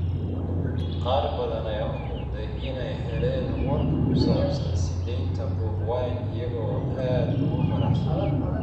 Qaar badan ayaa u muuqday inay heleen warka ku saabsan sii deynta Bobi Wine iyagoo aad ugu faraxsan.